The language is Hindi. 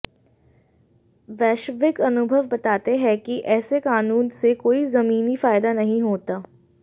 वैश्विक अनुभव बताते हैं कि ऐसे कानून से कोई ज़मीनी फ़ायदा नहीं होता